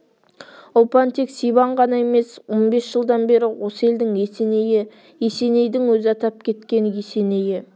ұлпан тек сибан ғана емес он бес жылдан бері осы елдің есенейі есенейдің өзі атап кеткен есенейі